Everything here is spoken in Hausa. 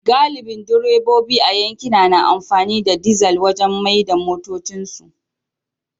Galibin direbobi a yankina na amfani da dizal wajen mai da motocinsu